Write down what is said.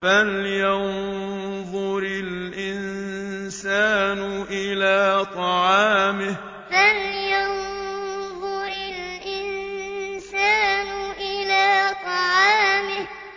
فَلْيَنظُرِ الْإِنسَانُ إِلَىٰ طَعَامِهِ فَلْيَنظُرِ الْإِنسَانُ إِلَىٰ طَعَامِهِ